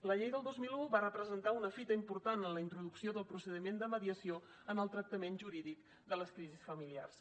la llei del dos mil un va representar una fita important en la introducció del procediment de mediació en el tractament jurídic de les crisis familiars